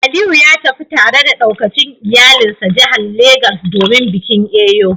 Aliyu ya tafi tare da daukacin iyalansa jihar Legas domin bikin Eyo